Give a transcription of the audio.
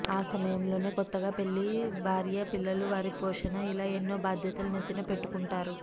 ఆ సమయంలోనే కొత్తగా పెళ్లి భార్య పిల్లలు వారి పోషణ ఇలా ఎన్నో బాధ్యతలు నెత్తిన పెట్టుకుంటారు